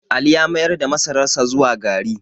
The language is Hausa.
Ali ya mayar da masararsa zuwa gari